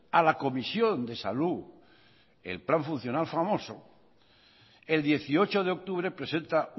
a la comisión de salud el plan funcional famoso el dieciocho de octubre presenta